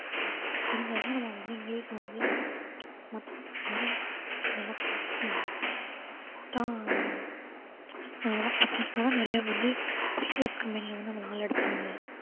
தெரிஞ்சாதான் நம்ம வந்து இங்கிலிஷ் வந்து மத்தவங்க மாதிரி நல்லா பேசுவோம் போட்டா நிறையா வந்து private company ல வந்து நம்மள ஆள் எடுப்பாங்க